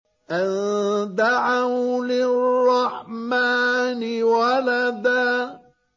أَن دَعَوْا لِلرَّحْمَٰنِ وَلَدًا